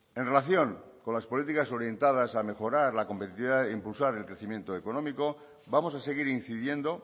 en relación con las políticas orientadas a mejorar la competitividad e impulsar el crecimiento económico vamos a seguir incidiendo